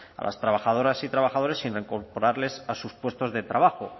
a las trabajadoras y trabajadores sin reincorporarles a sus puestos de trabajo